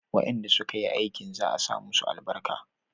wayanda su ka yi aikin za a sa musu albarka